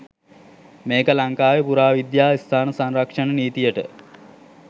මේක ලංකාවේ පුරාවිද්‍යා ස්ථාන සංරක්ෂණ නීතියට